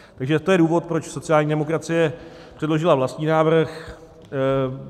Takže to je důvod, proč sociální demokracie předložila vlastní návrh.